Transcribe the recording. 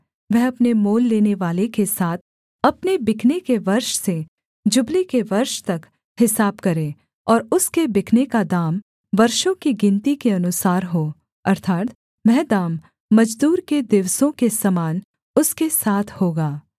वह अपने मोल लेनेवाले के साथ अपने बिकने के वर्ष से जुबली के वर्ष तक हिसाब करे और उसके बिकने का दाम वर्षों की गिनती के अनुसार हो अर्थात् वह दाम मजदूर के दिवसों के समान उसके साथ होगा